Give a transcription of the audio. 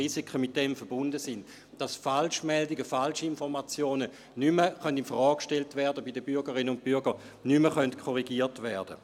Falschmeldungen und Falschinformationen können so nicht mehr bei den Bürgerinnen und Bürgern infrage gestellt, nicht mehr korrigiert werden.